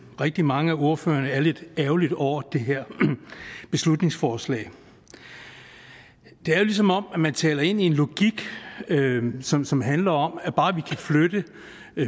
rigtig mange af ordførerne er lidt ærgerlig over det her beslutningsforslag det er jo som om man taler ind i en logik som som handler om at bare vi kan flytte